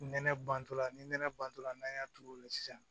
Nɛnɛ bantɔla ni nɛnɛ bantɔla n'an y'a turu o la sisan